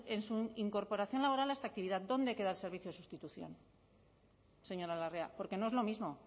en su incorporación laboral a esta actividad dónde hay que dar servicios de sustitución señora larrea porque no es lo mismo